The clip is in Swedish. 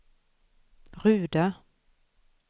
Ruda